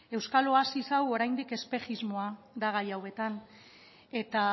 euskal oasia oraindik espejismoa da gai hauetan eta